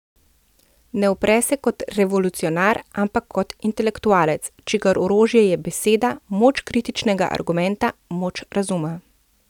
Ne upre se kot revolucionar, ampak kot intelektualec, čigar orožje je beseda, moč kritičnega argumenta, moč razuma.